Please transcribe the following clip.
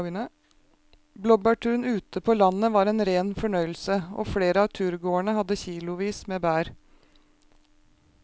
Blåbærturen ute på landet var en rein fornøyelse og flere av turgåerene hadde kilosvis med bær.